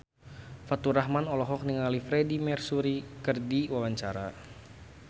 Faturrahman olohok ningali Freedie Mercury keur diwawancara